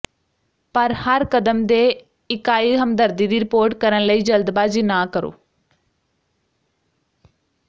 ਪਰ ਹਰ ਕਦਮ ਦੇ ਇਕਾਈ ਹਮਦਰਦੀ ਦੀ ਰਿਪੋਰਟ ਕਰਨ ਲਈ ਜਲਦਬਾਜ਼ੀ ਨਾ ਕਰੋ